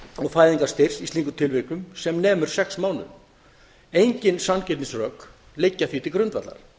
og fæðingarstyrks í slíkum tilvikum sem nemur sex mánuðum engin sanngirnisrök liggja því til grundvallar